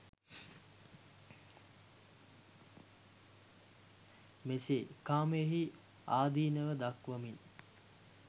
මෙසේ කාමයෙහි ආදීනව දක්වමින්